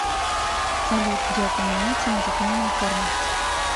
салют где упоминается музыкальная форма